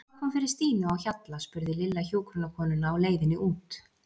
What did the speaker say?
Hvað kom fyrir Stínu á Hjalla? spurði Lilla hjúkrunarkonuna á leiðinni út.